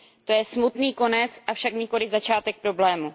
To je smutný konec, avšak nikoliv začátek problému.